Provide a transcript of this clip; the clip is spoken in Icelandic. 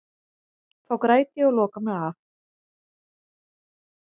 Þá græt ég og loka mig af.